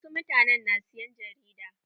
Wasu mutanen na siyan jarida.